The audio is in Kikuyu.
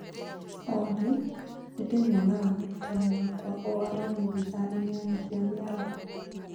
Olly, nĩ ndĩmuonaga mũrutani wakwa o aramithi thaa inyanya cia mĩaraho